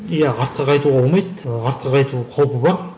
иә артқа қайтуға болмайды артқа қайту қаупі бар